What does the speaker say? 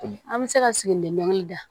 An bɛ se ka sigilen dɔnkili da